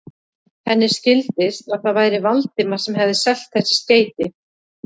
Henni skildist, að það væri Valdimar sem hefði selt þessi skeyti.